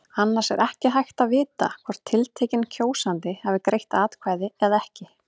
Annars er ekki hægt að vita hvort tiltekinn kjósandi hafi greitt atkvæði eða ekki.